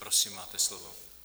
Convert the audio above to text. Prosím máte slovo.